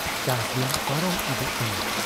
ᱪᱟᱥ ᱫᱤᱱ ᱯᱟᱨᱚᱢ ᱤᱫᱤᱜ ᱠᱟᱱᱟ ᱾